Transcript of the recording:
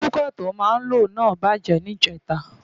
Kúkà tó máa ń loná bàjẹ́ ní ìjẹta